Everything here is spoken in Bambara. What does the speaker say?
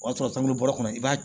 O y'a sɔrɔ taabolo kɔnɔ i b'a